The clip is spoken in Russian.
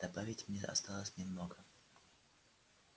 добавить мне осталось немного